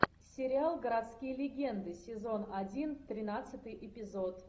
сериал городские легенды сезон один тринадцатый эпизод